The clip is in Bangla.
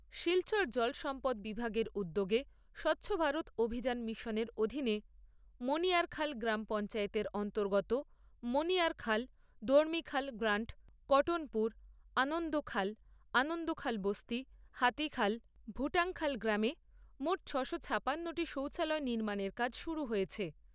শিলচর জল সম্পদ বিভাগের উদ্যোগে স্বচ্ছ ভারত অভিযান মিশনের অধীনে মণিয়ারখাল গ্রাম পঞ্চায়েতের অন্তর্গত মণিয়ারখাল, দর্মিখাল গ্রান্ট, কটনপুর, আনন্দখাল , আনন্দখাল বস্তি, হাতীখাল, ভূটাংখাল গ্রামে মোট ছ'শো ছাপান্ন টি শৌচালয় নির্মাণের কাজ শুরু হয়েছে।